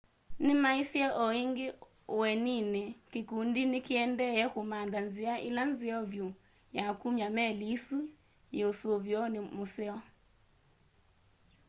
nĩmaisye o ĩngĩ ũneeninĩ kĩkũndi nĩkĩendee kũmantha nzĩa ĩla nzeo vyũ ya kũmya meli ĩsũ yĩ ũsũvĩonĩ mũseo